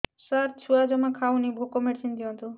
ସାର ଛୁଆ ଜମା ଖାଉନି ଭୋକ ମେଡିସିନ ଦିଅନ୍ତୁ